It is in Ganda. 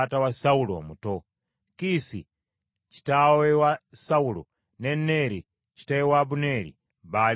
Kiisi kitaawe wa Sawulo ne Neeri kitaawe wa Abuneeri baali batabani ba Abiyeeri.